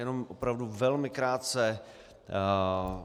Jenom opravdu velmi krátce.